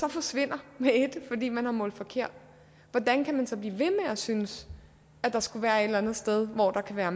et forsvinder fordi man har målt forkert hvordan kan man så blive ved med at synes at der skulle være et eller andet sted hvor der kan være